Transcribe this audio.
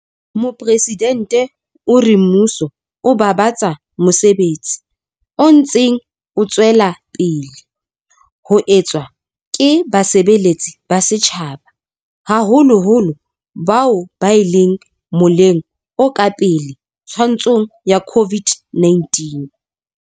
Mopresidente o re mmuso o babatsa mosebetsi o ntseng o tswela pele ho etswa ke basebeletsi ba setjhaba, haholoholo bao ba leng moleng o ka pele twantshong ya COVID-19.